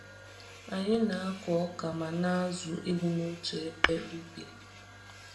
Anyị na-akọ ọka ma na-azụ ewu n'otu ebe ubi.